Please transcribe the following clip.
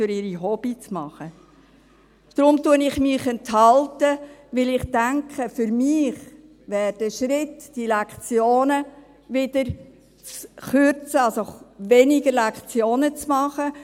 Deshalb enthalte ich mich, denn ich denke, für mich wäre der richtige Schritt, die Lektionenzahl wieder zu kürzen.